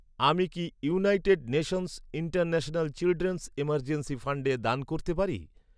আমি কি United Nations International Children's Emergency ফান্ডে দান করতে পারি?